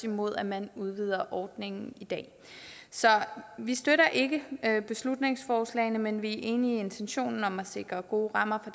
imod at man udvider ordningen så vi støtter ikke beslutningsforslagene men vi er enige i intentionen om at se sikre gode rammer